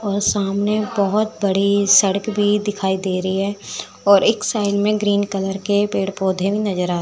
और सामने बहोत बड़ी सड़क भी दिखाई दे रही है और एक साइड में ग्रीन कलर के पेड़-पौधे भी नज़र --